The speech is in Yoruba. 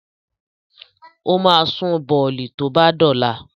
O ma sun bọ̀lì tó bá dọ̀la